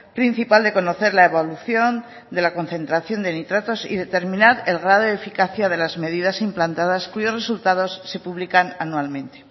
principal de conocer la evolución de la concentración de nitratos y determinar el grado de eficacia de las medidas implantadas cuyos resultados se publican anualmente